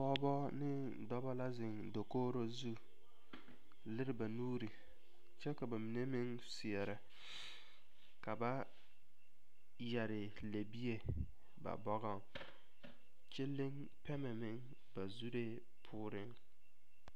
Pɔgeba ne dɔba la zeŋ dakogiro zu a lere ba nuure kyɛ ka ba mine meŋ seɛ ka ba yɛrɛ lebie ba bɔgoŋ kyɛ leŋ pɛmɛ meŋ ba zureŋ meŋ